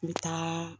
N bɛ taa